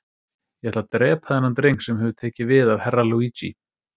Ég ætla að drepa þennan dreng sem hefur tekið við af Herra Luigi.